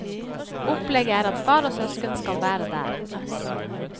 Opplegget er at far og søsken skal være der.